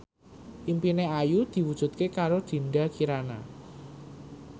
impine Ayu diwujudke karo Dinda Kirana